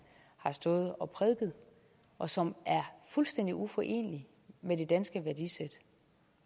har stået og prædiket og som er fuldstændig uforenelige med det danske værdisæt